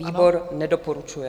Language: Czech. Výbor nedoporučuje.